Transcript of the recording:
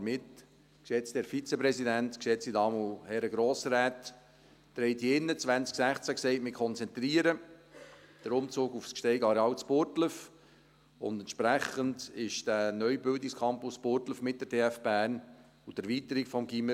Damit, geschätzter Herr Vizepräsident, geschätzte Damen und Herren Grossräte, hatten Sie 2016 hier drin gesagt: «Wir konzentrieren den Umzug auf das Gsteig-Areal in Burgdorf.», und entsprechend ist der neue Bildungscampus in Burgdorf mit der TF Bern und der Erweiterung des Gymnasiums.